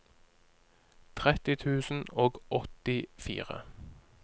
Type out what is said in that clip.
tretti tusen og åttifire